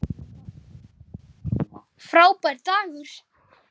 Frábær dagur.